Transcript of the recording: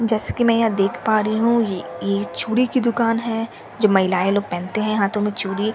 जैसे की मैं यहा देख पा रही हूँ य य यह एक चूड़ी की दुकान है जो महिलाएं लोग पहनते है हाथों में चूड़ी --